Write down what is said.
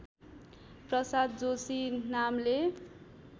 प्रसाद जोशी नामले